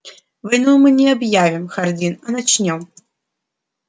войну мы не объявим хардин а начнём